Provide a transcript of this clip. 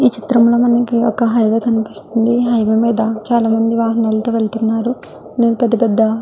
ఈ చిత్రం లో మనకి ఒక హైవే కనిపిస్తుంది హైవే మీద చాలమంది వాహనాల్లాతో వెళ్తున్నారు పెద్ద పెద్ద --